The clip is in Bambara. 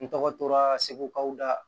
N tɔgɔ tora segu kaw da